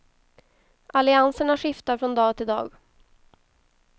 Allianserna skiftar från dag till dag.